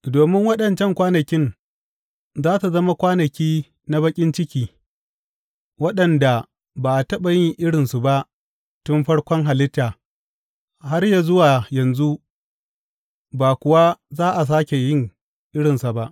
Domin waɗancan kwanakin za su zama kwanaki na baƙin ciki, waɗanda ba a taɓa yin irinsa ba tun farkon halitta, har yă zuwa yanzu, ba kuwa za a sāke yin irinsa ba.